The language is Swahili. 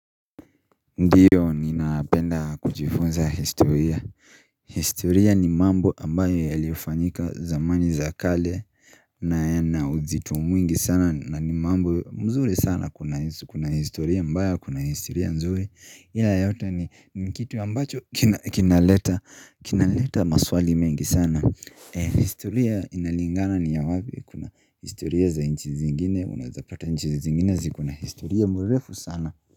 Ndiyo ninapenda kujifunza historia historia ni mambo ambayo yalifanyika zamani za kale na yana uzito mwingi sana na ni mambo mzuri sana kuna historia mbaya kuna historia nzuri ila yote ni kitu ambacho kinaleta maswali mengi sana historia inalingana ni ya wapi kuna historia za inchi zingine unaezapata inchi zingine ziko na historia mrefu sana.